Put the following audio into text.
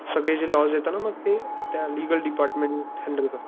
सगळी जी लॉस येत ना मग ते त्या लीगल डिपार्टमेंट हान्डेल करत.